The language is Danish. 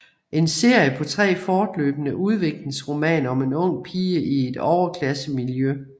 En serie på tre fortløbende udviklingsromaner om en ung pige i et overklassemiljø